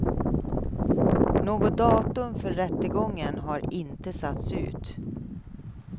Något datum för rättegången har inte satts ut.